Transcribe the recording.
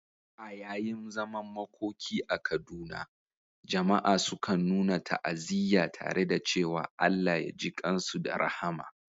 A yayin zaman makoki a Kaduna, jama'a sukan nuna ta'aziyya tare da cewa "Allah ya jikan su da rahama."